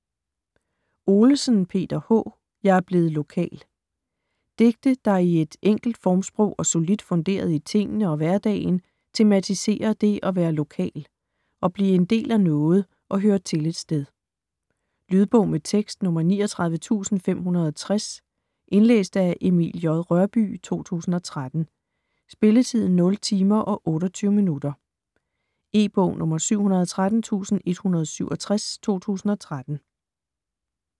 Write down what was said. Olesen, Peter H.: Jeg er blevet lokal Digte, der i et enkelt formsprog og solidt funderet i tingene og hverdagen tematiserer dét at være lokal - at blive en del af noget og høre til et sted. Lydbog med tekst 39560 Indlæst af Emil J. Rørbye, 2013. Spilletid: 0 timer, 28 minutter. E-bog 713167 2013.